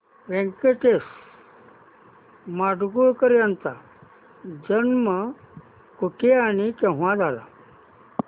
व्यंकटेश माडगूळकर यांचा जन्म कुठे आणि केव्हा झाला